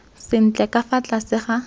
sentle ka fa tlase ga